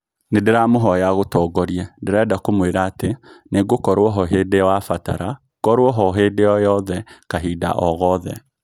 Nindiramuhoya agutongorie...ndirenda kumwira ati... ningũkoruo hoo hindi wabatara ngorwo hoo hindi oo yothe kahinda oo gothe